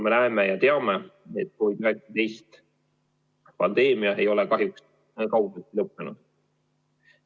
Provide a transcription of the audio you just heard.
Me näeme ja teame, et COVID-19 pandeemia ei ole kahjuks kaugeltki lõppenud.